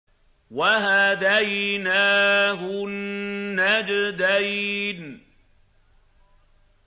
وَهَدَيْنَاهُ النَّجْدَيْنِ